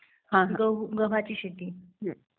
गव्हाची शेती